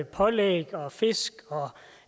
pålæg fisk og